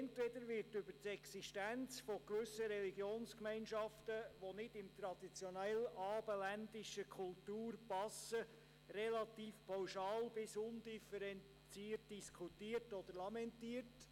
Entweder wird über die Existenz gewisser Religionsgemeinschaften, die nicht in die traditionelle abendländische Kultur passen, relativ pauschal bis undifferenziert diskutiert oder lamentiert.